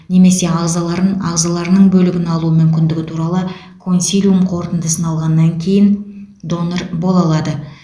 немесе ағзаларын ағзаларының бөлігін алу мүмкіндігі туралы консилиум қорытындысын алғаннан кейін донор бола алады